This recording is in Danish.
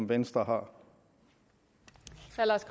venstre